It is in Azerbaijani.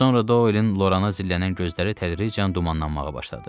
Sonra Doelin Lorana zillənən gözləri tədricən dumanlanmağa başladı.